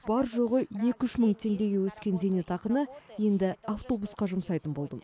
бар жоғы екі үш мың теңгеге өскен зейнетақыны енді автобусқа жұмсайтын болдым